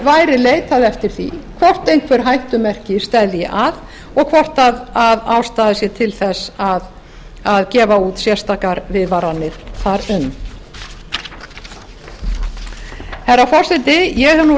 væri leitað eftir því hvort einhver hættumerki steðji að og hvort ástæða sé til að gefa út sérstakar viðvaranir þar um herra forseti ég hef